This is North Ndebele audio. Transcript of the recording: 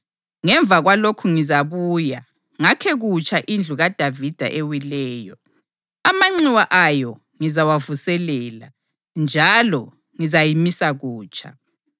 ‘Ngemva kwalokhu ngizabuya ngakhe kutsha indlu kaDavida ewileyo. Amanxiwa ayo ngizawavuselela, njalo ngizayimisa kutsha,